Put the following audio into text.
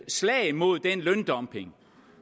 slag mod den løndumping